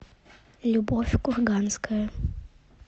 любовь курганская